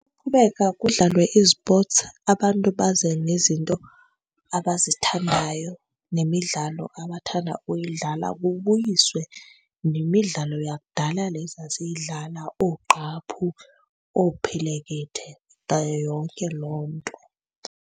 kudlalwe izipotsi, abantu baze nezinto abazithandayo nemidlalo abathanda uyidlala. Kubuyiswe nemidlalo yakudala le sasiyidlala, oogqaphu, oophelekethe nayo yonke loo nto.